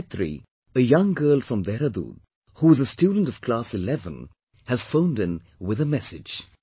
Gayatri, a young girl from Dehradun, who is a student of class 11, has phoned in with a message